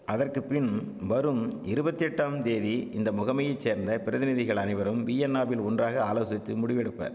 அதற்கு பின் வரும் இருவத்தெட்டாம் தேதி இந்த முகமையைச் சேர்ந்த பிரதிநிதிகள் அனைவரும் வீயன்னாவில் ஒன்றாக ஆலோசித்து முடிவெடுப்பர்